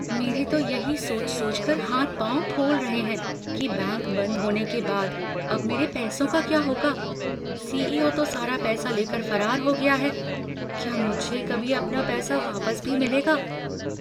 मेरे तो यही सोच सोचकर हाथ पाँव फूल रहे हैं कि बैंक बंद होने के बाद अब मेरे पैसों का क्या होगा, सीईओ तो सारा पैसा लेकर फरार हो गया है? क्या मुझे कभी अपना पैसा वापस भी मिलेगा?